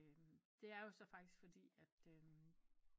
Det er jo så faktisk fordi